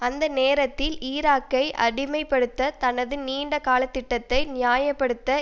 அந்த நேரத்தில் ஈராக்கை அடிமை படுத்த தனது நீண்ட காலத்திட்டத்தை நியாய படுத்த